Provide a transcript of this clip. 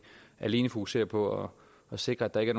alene fokusere på at sikre at der ikke